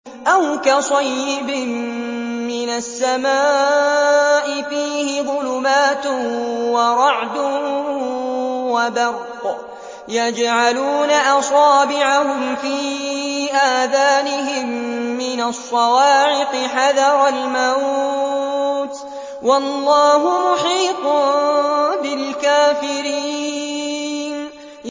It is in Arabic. أَوْ كَصَيِّبٍ مِّنَ السَّمَاءِ فِيهِ ظُلُمَاتٌ وَرَعْدٌ وَبَرْقٌ يَجْعَلُونَ أَصَابِعَهُمْ فِي آذَانِهِم مِّنَ الصَّوَاعِقِ حَذَرَ الْمَوْتِ ۚ وَاللَّهُ مُحِيطٌ بِالْكَافِرِينَ